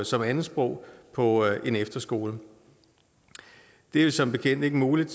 som andetsprog på en efterskole det er jo som bekendt ikke muligt